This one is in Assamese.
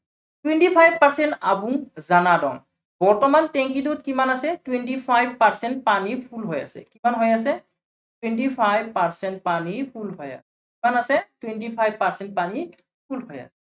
twenty five percent বৰ্তমান টেংকীটোত কিমান আছে twenty five percent পানী full হৈ আছে। কিমান হৈ আছে twenty five percent পানী full হৈ আছে। কিমান আছে twenty five percent পানী full হৈ আছে।